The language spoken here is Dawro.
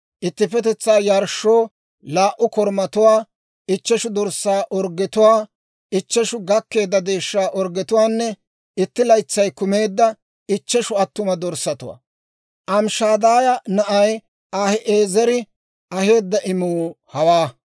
ittippetetsaa yarshshoo laa"u korumatuwaa, ichcheshu dorssaa orggetuwaa, ichcheshu gakkeedda deeshshaa orggetuwaanne itti laytsay kumeedda ichcheshu attuma dorssatuwaa. Amishadaaya na'ay Ahi'eezeri aheedda imuu hawaa.